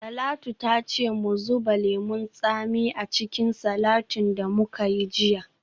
Talatu ta ce mu zuba lemon tsami a cikin salatin da muka yi jiya.